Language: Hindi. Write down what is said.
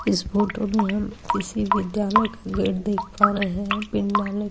इस फोटो में हम किसी विद्यालय का गेट देख पा रहे है।